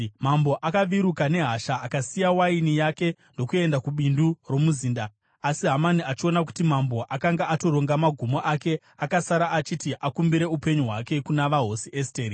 Mambo akaviruka nehasha, akasiya waini yake ndokuenda kubindu romuzinda. Asi Hamani, achiona kuti mambo akanga atoronga magumo ake, akasara achiti akumbire upenyu hwake kuna vaHosi Esteri.